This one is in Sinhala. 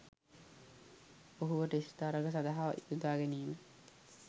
ඔහුව ටෙස්ට් තරඟ සදහා යොදාගැනිම